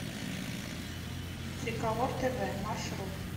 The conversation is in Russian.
триколор тв маршрут